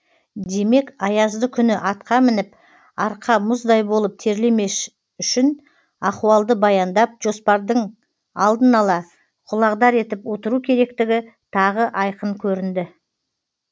демек аязды күні атқа мініп арқа мұздай болып терлемес үшін ахуалды баяндап жоспардың алдын ала құлағдар етіп отыру керектігі тағы айқын көрінді